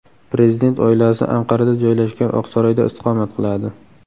Prezident oilasi Anqarada joylashgan Oqsaroyda istiqomat qiladi.